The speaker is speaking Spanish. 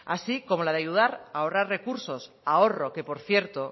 así como la de ayudar a ahorrar recursos ahorro que por cierto